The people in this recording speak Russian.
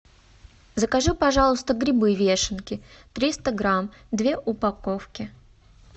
закажи пожалуйста грибы вешенки триста грамм две упаковки